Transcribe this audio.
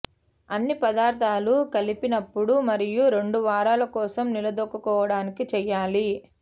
అన్ని పదార్థాలు కలిపినప్పుడు మరియు రెండు వారాల కోసం నిలద్రొక్కుకోవడానికి చేయాలి